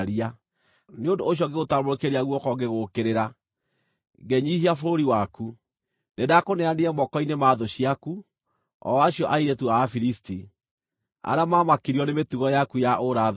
Nĩ ũndũ ũcio ngĩgũtambũrũkĩria guoko ngĩgũũkĩrĩra, ngĩnyiihia bũrũri waku; nĩndakũneanire moko-inĩ ma thũ ciaku, o acio airĩtu a Afilisti, arĩa maamakirio nĩ mĩtugo yaku ya ũũra-thoni.